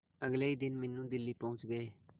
अगले ही दिन मीनू दिल्ली पहुंच गए